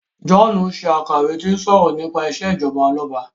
John ka iwè ti o sọrọ nípa ìṣèjọba Ọlọba.